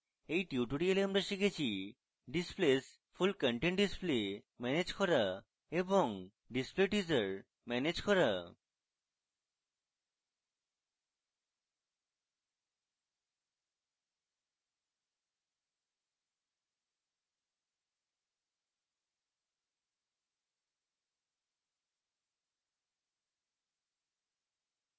in tutorial আমরা শিখেছি displays full content display manage করা এবং ডিসপ্লে teaser ম্যানেজ করা